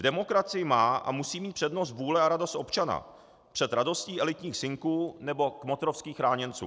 V demokracii má a musí mít přednost vůle a radost občana před radostí elitních synků nebo kmotrovských chráněnců.